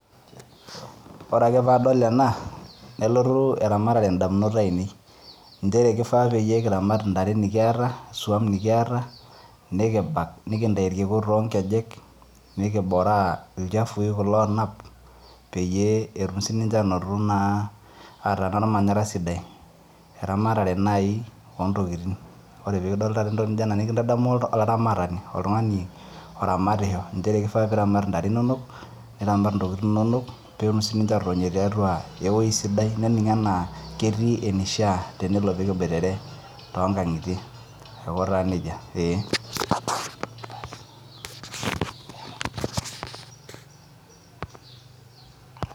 Ore ake paadol ena nelotu eramatare indamunot ainei inchere kifaa pekiramata intare nikiyata isuam nikiata nikibak nikintai irkiku tonkejek nikiboraa ilchafui kulo onap peyie etum sininche anoto naa ataa inarmanyara sidai eramatare naai ontokitin ore pekidol taata entoki naijio ena nikintadamu olaramatani oltung'ani oramatisho inchere kifaa intare inonok niramat intokitin inonok petum sininche atotonio tiatua ewoi sidai nening enaa ketii enishia tenelo pekibuitere tonkang'itie aiko taa nejia eeh.